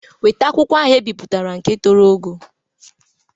Weta akwụkwọ ahụ ebiputara nke toro ogo!